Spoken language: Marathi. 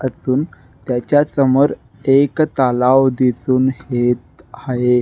असुन त्याच्या समोर एक तालाव दिसुन हेत हाये.